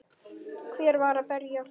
Hver var að berja?